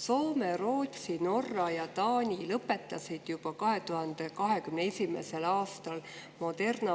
Soome, Rootsi, Norra ja Taani lõpetasid juba 2021. aastal Moderna